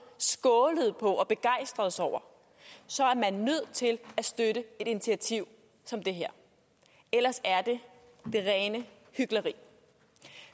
skålede på og begejstredes over er man nødt til at støtte et initiativ som det her ellers er det det rene hykleri